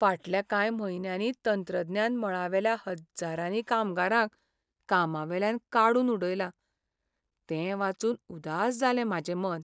फाटल्या कांय म्हयन्यांनी तंत्रज्ञान मळावेल्या हज्जारांनी कामगारांक कामावेल्यान काडून उडयलां तें वाचून उदास जालें म्हाजें मन.